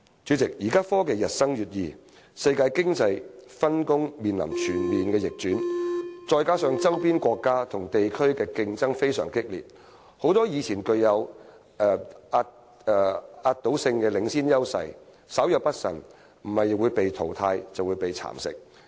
主席，現代科技日新月異，世界經濟分工面臨全面逆轉，加上周邊國家與地區的激烈競爭，很多以前具有壓倒性領先優勢的行業，稍有不慎，若非被淘汰，就是被蠶食。